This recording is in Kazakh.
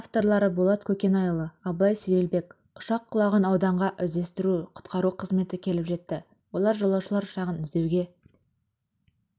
авторлары болат көкенайұлы абылай сейілбек ұшақ құлаған ауданға іздестіру-құтқару қызметі келіп жетті олар жолаушылар ұшағын іздеуге